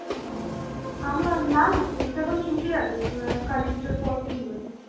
আমার না না স্কুল তো এখন ছুটি আছে অ্যাঁ কালী পুজোর পর খুলবে যে.